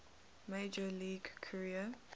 major league career